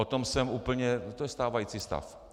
O tom jsem úplně - to je stávající stav.